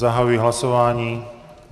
Zahajuji hlasování.